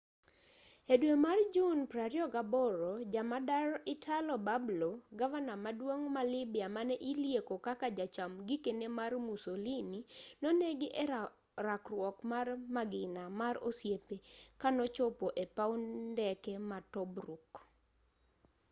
e dwe mar jun 28 jamadar italo balbo gavana maduong' ma lybia mane ilieko kaka jacham gikeni mar musolini nonegi e rakruok mar magina mar osiepe kanochopo e paw ndeke ma tobruk